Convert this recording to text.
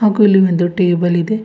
ಹಾಗು ಇಲ್ಲಿ ಒಂದು ಟೇಬಲ್ ಇದೆ.